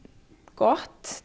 gott